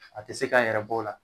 A te se k'a yɛrɛ b'o la